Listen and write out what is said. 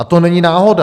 A to není náhoda.